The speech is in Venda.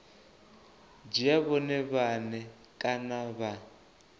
dzhia vhone vhane kana vha